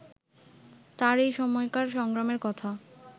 তাঁর এই সময়কার সংগ্রামের কথা